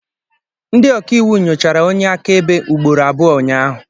Ndị ọkaiwu nyochara onye akaebe ugboro abụọ ụnyahụ